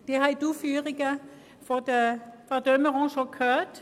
Sie haben die Ausführungen von Frau de Meuron gehört.